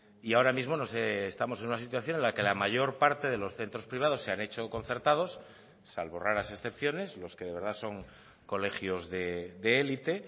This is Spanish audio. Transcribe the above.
y ahora mismo no sé estamos en una situación en la que la mayor parte de los centros privados se han hecho concertados salvo raras excepciones los que de verdad son colegios de élite